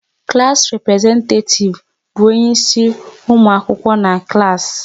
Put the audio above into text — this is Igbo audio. Klass representetativ bụ onye isi ụmụ akwụkwọ n'klass